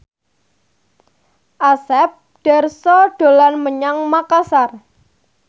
Asep Darso dolan menyang Makasar